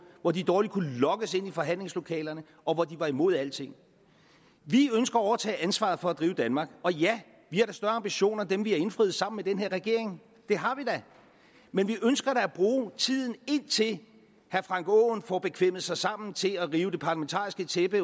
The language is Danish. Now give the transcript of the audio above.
hvor de dårligt kunne lokkes ind i forhandlingslokalerne og hvor de var imod alting vi ønsker at overtage ansvaret for at drive danmark og ja vi har da større ambitioner end dem vi har indfriet sammen med den her regering det har vi da men vi ønsker da at bruge tiden indtil herre frank aaen får bekvemmet sig sammen til at rive det parlamentariske tæppe